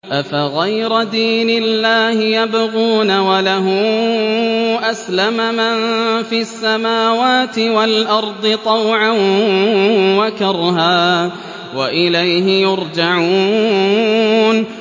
أَفَغَيْرَ دِينِ اللَّهِ يَبْغُونَ وَلَهُ أَسْلَمَ مَن فِي السَّمَاوَاتِ وَالْأَرْضِ طَوْعًا وَكَرْهًا وَإِلَيْهِ يُرْجَعُونَ